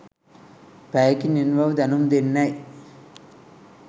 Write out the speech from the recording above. පැයකින් එන බව දැනුම් දෙන්නැයි